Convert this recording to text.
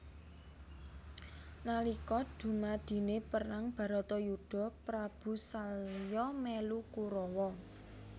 Nalika dumadine perang baratayuda Prabu salya melu Kurawa